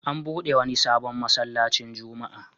An buɗe wani sabon masallacin Juma'a.